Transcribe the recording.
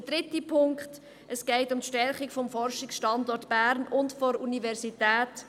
Der dritte Punkt: Es geht um die Stärkung des Forschungsstandorts Bern mit der Universität.